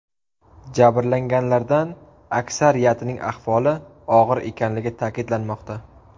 Jabrlanganlardan aksariyatining ahvoli og‘ir ekanligi ta’kidlanmoqda.